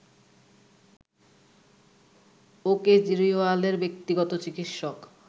ও কেজরিওয়ালের ব্যক্তিগত চিকিৎসক